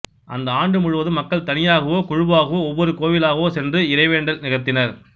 அந்த ஆண்டு முழுவதும் மக்கள் தனியாகவோ குழுவாகவோ ஒவ்வொரு கோவிலாகச் சென்று இறைவேண்டல் நிகழ்த்தினர்